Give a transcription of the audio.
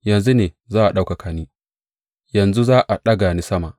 Yanzu ne za a ɗaukaka ni; yanzu za a ɗaga ni sama.